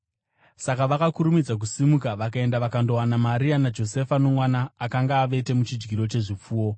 Saka vakakurumidza kusimuka vakaenda vakandowana Maria naJosefa, nomwana, akanga avete muchidyiro chezvipfuwo.